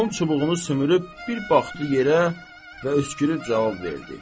Axund çubuğu sümürüb bir baxdı yerə və öskürüb cavab verdi: